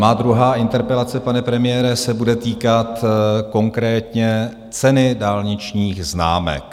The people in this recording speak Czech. Má druhá interpelace, pane premiére, se bude týkat konkrétně ceny dálničních známek.